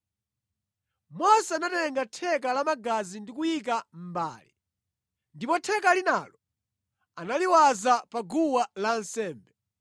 Mose anatenga theka la magazi ndi kuyika mʼmbale, ndipo theka linalo analiwaza pa guwa lansembe.